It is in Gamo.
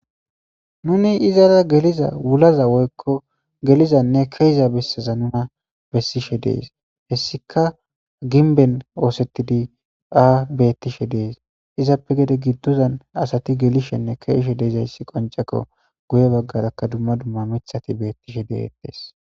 Nuni izara geliza wulaza woykko gelizanne keiza besseza nuna bessishe dees hessika ginben oosettidi aa bettishe dees izappe gede giddozan asati gelishenne keeishe deezayssi qonceko guye baggarakka dumma dumma mithati beettishe deettes.